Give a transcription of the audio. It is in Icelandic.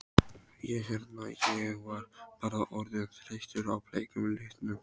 Ég hérna. ég var bara orðinn þreyttur á bleika litnum.